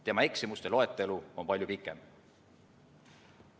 Tema eksimuste loetelu on palju pikem.